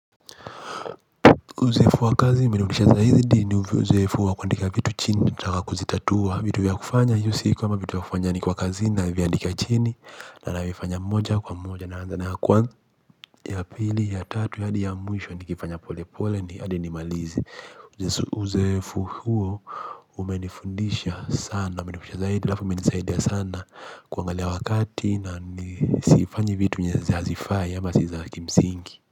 Uzoefu wa kazi imeni motisha zaidi ni uzoefu wa kuandika vitu chini nikitaka kuzitatua vitu vya kufanya hiyo si kama vitu ya kufanya nikiwa kazini naviandika chini na navifanya moja kwa moja naanza na ya kwanza ya pili ya tatu hadi ya mwisho nikifanya pole pole hadi nimalize Uzoefu huo umenifundisha sana umenimotisha zaidi alafu imenisaidia sana kuangalia wakati na nisifanye vitu zenye hazifai ama si zakimsingi.